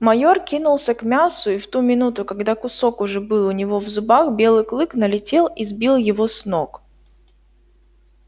майор кинулся к мясу и в ту минуту когда кусок уже был у него в зубах белый клык налетел и сбил его с ног